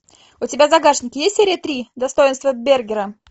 у тебя в загашнике есть серия три достоинство бергера